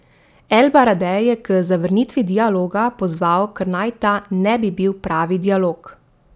El Baradej je k zavrnitvi dialoga pozval, ker naj ta ne bi bil pravi dialog.